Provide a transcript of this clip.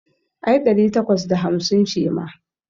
Ai ɗari takwas da hamsin ce ma.